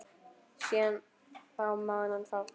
Síðan þá man hann fátt.